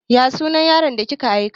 Ya sunan yaron da kika aika?